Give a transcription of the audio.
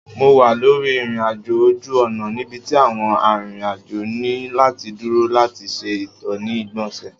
Mo wa lori irin-ajo oju-ọna nibiti awọn arinrin-ajo ni lati duro lati ṣe ito ni igbonse